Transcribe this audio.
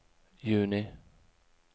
juni